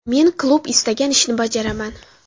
Men klub istagan ishni bajaraman.